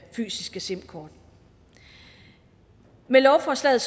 fysiske simkort med lovforslaget